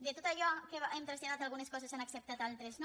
de tot allò que hem traslladat algunes coses s’han ac·ceptat altres no